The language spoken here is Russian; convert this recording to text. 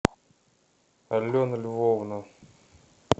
алена львовна